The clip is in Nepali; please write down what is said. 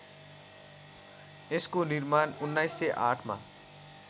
यसको निर्माण १९०८मा